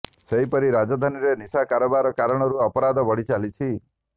ସେହିପରି ରାଜଧାନୀରେ ନିଶା କାରବାର କାରଣରୁ ଅପରାଧ ବଢ଼ି ଚାଲିଛି